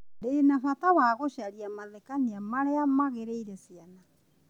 Ndĩ na bata wa gũcaria mathekania marĩa magĩrĩire ciana.